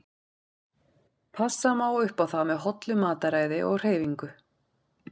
Passa má upp á það með hollu mataræði og hreyfingu.